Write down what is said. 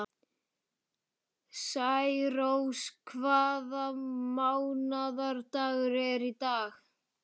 Særós, hvaða mánaðardagur er í dag?